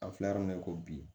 An filɛ yɔrɔ min na i ko bi